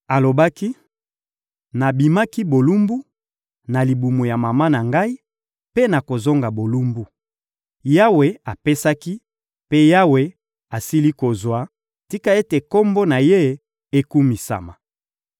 Alobaki: «Nabimaki bolumbu, na libumu ya mama na ngai, mpe nakozonga bolumbu. Yawe apesaki, mpe Yawe asili kozwa; tika ete Kombo na Ye ekumisama!»